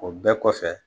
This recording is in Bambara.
O bɛɛ kɔfɛ